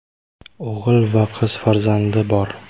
O‘g‘il va qiz farzandi bor.